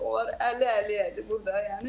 Onlar əli-əliyədi burda yəni.